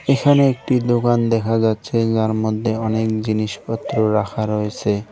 এখানে একটি দোকান দেখা যাচ্ছে যার মধ্যে অনেক জিনিসপত্র রাখা রয়েছে।